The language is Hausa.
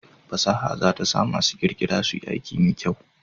Fasaha za ta sa masu ƙirƙira suyi aiki mai kyau